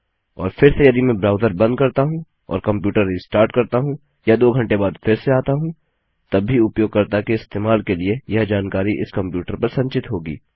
और फिर से यदि मैं ब्राउज़र बंद करता हूँ और कंप्यूटर रिस्टार्ट करता हूँ या दो घंटे बाद फिर से आता हूँ तब भी उपयोगकर्ता के इस्तेमाल के लिए यह जानकारी इस कंप्यूटर पर संचित होगी